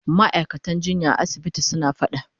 Ma'aikatan jinya a asibitin suna fada.